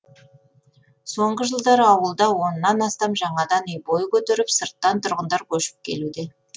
соңғы жылдары ауылда оннан астам жаңадан үй бой көтеріп сырттан тұрғындар көшіп келуде